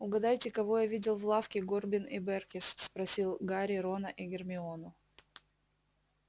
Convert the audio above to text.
угадайте кого я видел в лавке горбин и бэркес спросил гарри рона и гермиону